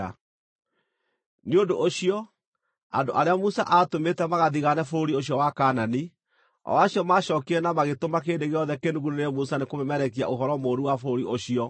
Nĩ ũndũ ũcio, andũ arĩa Musa aatũmĩte magathigaane bũrũri ũcio wa Kaanani, o acio macookire na magĩtũma kĩrĩndĩ gĩothe kĩnugunĩre Musa nĩkũmemerekia ũhoro mũũru wa bũrũri ũcio,